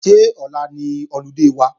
Ṣé ọ̀la ni ọludé wa?